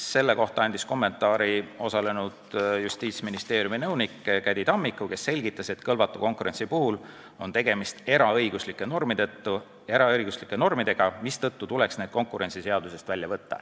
Selle kohta andis kommentaari Justiitsministeeriumi nõunik Käddi Tammiku, kes selgitas, et kõlvatu konkurentsi puhul on tegemist eraõiguslike normidega, mistõttu tuleks need konkurentsiseadusest välja võtta.